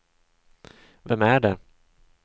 vem är det